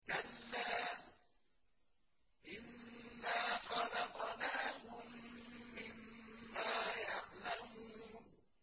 كَلَّا ۖ إِنَّا خَلَقْنَاهُم مِّمَّا يَعْلَمُونَ